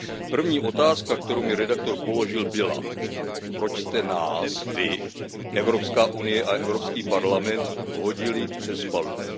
První otázka, kterou mi redaktor položil, byla Proč jste nás vy Evropská unie a Evropský parlament hodili přes palubu?